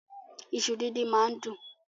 Ìṣu dídín máá ń dùn.